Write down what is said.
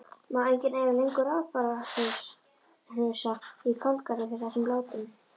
Má enginn eiga lengur rabbarbarahnausa í kálgarði fyrir þessum látum.